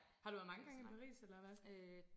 har du været mnge gang i Paris eller hvad?